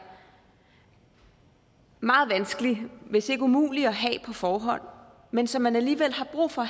meget vanskelig hvis ikke umulig at have på forhånd men som man alligevel har brug for